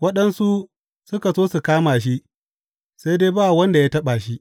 Waɗansu suka so su kama shi, sai dai ba wanda ya taɓa shi.